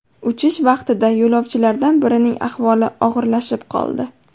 Uchish vaqtida yo‘lovchilardan birining ahvoli og‘irlashib qoldi.